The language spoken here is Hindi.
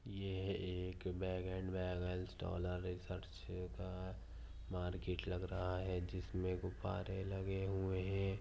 ये एक बॅगन बॅलन्स डॉलर रिसर्च का मार्केट लग रहा है जिसमे गुब्बारे लगे हुए है।